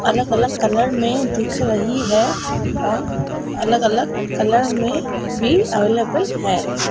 अलग-अलग कलर में दिख रही है और अलग-अलग कलर में भी अवेलेबल है।